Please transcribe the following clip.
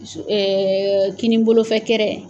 kinin bolofɛ kɛrɛ